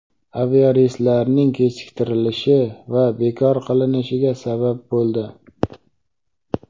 aviareyslarning kechiktirilishi va bekor qilinishiga sabab bo‘ldi.